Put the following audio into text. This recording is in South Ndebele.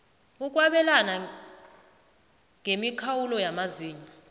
ukwabelana ngemikhawulo yamazinyo